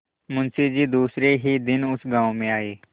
मुँशी जी दूसरे ही दिन उस गॉँव में आये